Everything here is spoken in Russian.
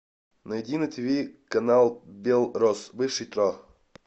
найди на тв канал белрос бывший тро